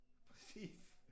Præcis